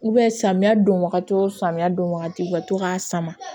samiya don wagati wo samiya don wagati u ka to k'a sama